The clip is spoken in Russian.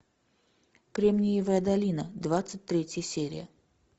кремниевая долина двадцать третья серия